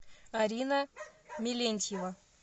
арина мелентьева